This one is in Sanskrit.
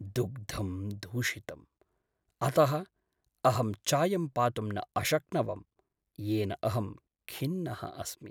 दुग्धं दूषितं, अतः अहं चायं पातुं न अशक्नवम्, येन अहं खिन्नः अस्मि।